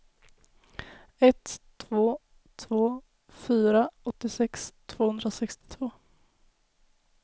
ett två två fyra åttiosex tvåhundrasextiotvå